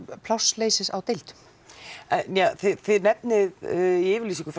plássleysis á deildum en þið nenfið í yfirlýsingu frá